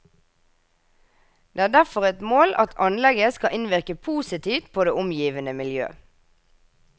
Det er derfor et mål at anlegget skal innvirke positivt på det omgivende miljø.